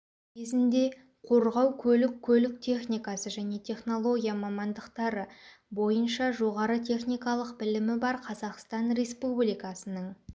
кезінде қорғау көлік көлік техникасы және технология мамандықтары бойынша жоғары техникалық білімі бар қазақстан республикасының